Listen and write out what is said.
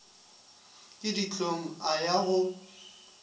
ke dihlong a ya go